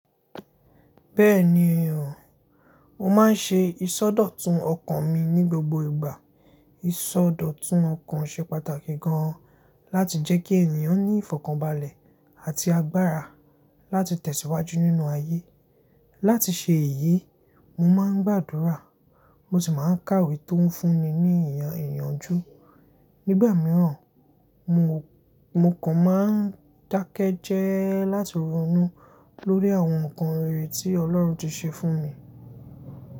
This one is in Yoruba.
Bẹ́ẹ̀ni èèyàn, mo máa ń ṣe ìsọdọ̀tun ọkàn mi ní gbogbo ìgbà. Ìsọdọ̀tun ọkàn ṣe pàtàkì gan-an láti jẹ́ kí ènìyàn ní ìfọ̀kànbalẹ̀ àti agbára láti tẹ̀síwájú nínú ayé. Láti ṣe èyí, mo máa ń gbàdúrà, mo sì máa ń kàwé tó ń fún mi ní ìyànjú. Nígbà mìíràn, mo kàn máa ń dákẹ́jẹ́ láti ronú lórí àwọn nǹkan rere tí Ọlọ́run ti ṣe fún mi.